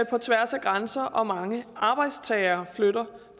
på tværs af grænser og hvor mange arbejdstagere flytter